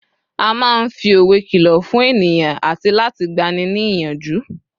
a ma n fi òwe kìlọ fún ènìyàn ati láti gbani ni iyanju